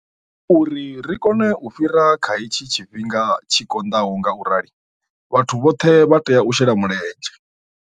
Uri ri kone u fhira kha hetshi tshifhinga tshi konḓaho ngaurali, vhathu vhoṱhe vha tea u shela mulenzhe.